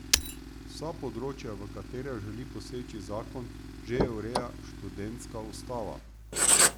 Vsa področja, v katera želi poseči zakon, že ureja študentska ustava.